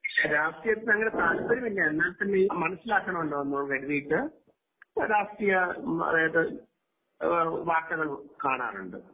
രാഷ്ട്രീയത്തിൽ അങ്ങനെ തലപ്പര്യം ഇല്ല എന്നാൽ തന്നയും മനസിലാക്കാണാമല്ലോ എന്നു കരുതിയിട്ട് രാഷ്ട്രീയ അതായിത് വാർത്തകൾ കാണാറുണ്ട്